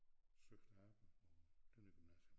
Søgte arbejde på Tønder gymnasium